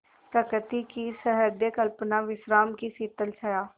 प्रकृति की सहृदय कल्पना विश्राम की शीतल छाया